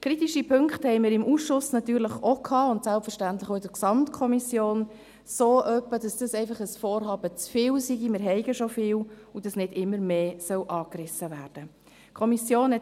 Kritische Punkte hatten wir im Ausschuss natürlich auch, und selbstverständlich auch in der Gesamtkommission, so etwa, dass es einfach ein Vorhaben zu viel sei, man habe ja schon viele, und dass nicht immer mehr angerissen werden solle.